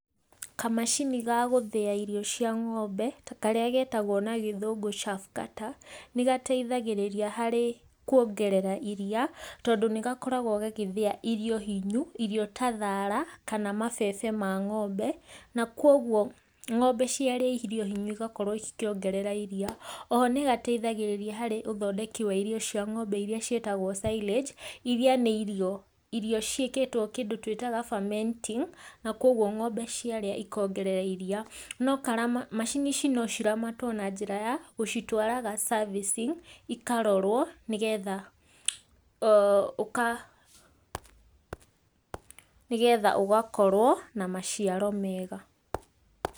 Kamacini ga gũtha irio cia ng'ombe, karĩa getagwo na gĩthũngũ chaff cutter, nĩ gateithagĩrĩria harĩ kwongerera iriia, tondũ nĩ gakoragwo gagĩthĩa irio hinyu, irio ta thaara kana mabebe ma ng'ombe, na kwoguo ng'ombe ciarĩa irio hinyu cigakorwo cikĩongerera iriia, oho nĩ gateithagĩrĩria harĩ ũthondeki wa irio cia ng'ombe iria ciĩtagwo silage, iria nĩ irio, irio ciĩkĩtwo kĩndũ twĩtaga fermenting, na kwoguo ng'ombe ciarĩa ikongerera iriia. No karama macini ici no ciramatwo na njĩra ya gũtwaraga servicing ikarorwo nĩgetha [ooh] nĩgetha ũgakorwo na maciaro mega.